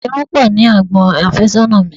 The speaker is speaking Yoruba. Irun pọ ní àgbon afésónà mi.